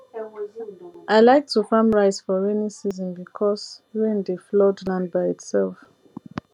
i like to farm rice for rainy season because rain dey flood land by itself